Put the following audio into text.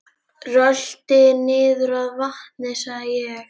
Rölti niður að vatni sagði ég.